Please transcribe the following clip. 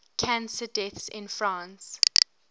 cancer deaths in france